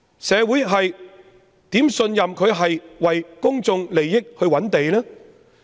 社會怎會信任她是為公眾利益覓地呢？